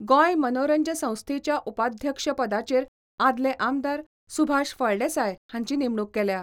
गोंय मनोरंज संस्थेच्या उपाध्यक्ष पदाचेर आदले आमदार सुभाष फळदेसाय हांची नेमणूक केल्या.